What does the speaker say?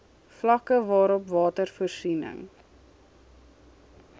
vlakke waarop watervoorsiening